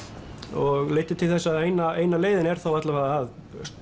og leiddi til þess að eina eina leiðin er þá alla vega að